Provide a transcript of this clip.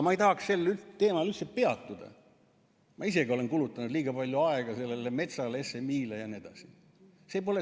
Ma ei tahaks sel teemal üldse peatuda, ma isegi olen kulutanud liiga palju aega sellele metsale, SMI-le jne.